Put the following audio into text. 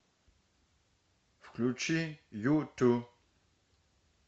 включи юту